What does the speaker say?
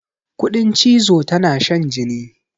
Kuɗin cizo tana shan jini.